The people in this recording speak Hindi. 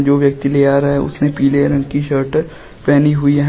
जो व्यक्ति ले आ रहा है उसने पीले रंग की शर्ट पहनी हुई है।